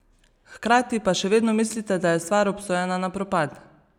Hkrati pa še vedno mislite, da je stvar obsojena na propad?